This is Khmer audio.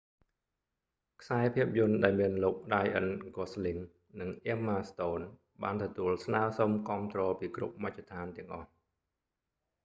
ខ្សែភាពយន្តដែលមានលោករ៉ាយអឹន ហ្គសស្លីង ryan gosling និងអ៊ែមម៉ាស្តូន emma stone បានទទួលស្នើរសុំគាំទ្រពីគ្រប់មជ្ឈដ្ឋានទាំងអស់